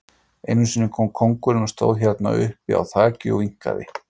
Einu sinni kom kóngurinn og stóð hérna uppi á þaki og vinkaði.